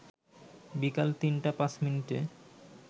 বিকাল ৩টা ৫ মিনিটে